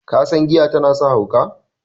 kasan giya tana sa hauka?